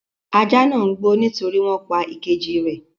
Ajá náà ń gbó nítorí wọn pa ìkejì rẹ̀.